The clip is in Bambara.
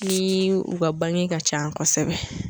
Ni u ka bange ka ca kosɛbɛ.